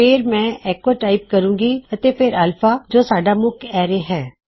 ਫੇਰ ਮੈਂ echo type ਕਰੂੰਗਾ ਅਤੇ ਫੇਰ ਅਲਫਾ ਜੋ ਸਾਡਾ ਮੁਖ ਐਰੇ ਹੈ